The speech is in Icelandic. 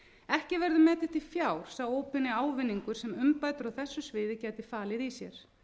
ekki verður metinn til fjár sá óbeini ávinningur sem umbætur á þessu sviði gætu falið í sér